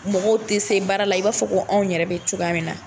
Mɔgɔw tɛ se baara la i b'a fɔ ko anw yɛrɛ bɛ cogoya min na.